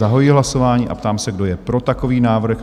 Zahajuji hlasování a ptám se, kdo je pro takový návrh?